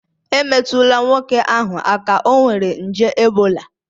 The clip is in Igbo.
Emetụla nwoke ahụ aka, ọ nwere nje ebola